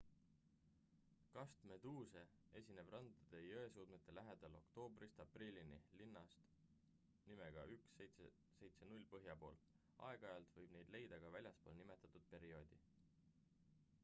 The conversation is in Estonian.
kastmeduuse esineb randade ja jõesuudmete lähedal oktoobrist aprillini linnast nimega 1770 põhja pool aeg-ajalt võib neid leida ka väljaspool nimetatud perioodi